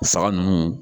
Saga ninnu